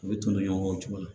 U bɛ tonni ɲɔgɔn kɔ o cogo la